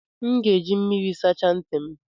M ga-eji mmiri sachaa ntị m